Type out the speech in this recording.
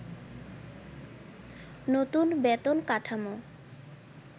নতুন বেতন কাঠামো